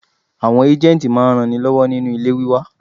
Àwọn ágéǹtì máa ń ran ni lọ́wọ́ nínu ilé wíwá.